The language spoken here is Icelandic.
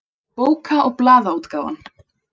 Bóka- og blaðaútgáfan.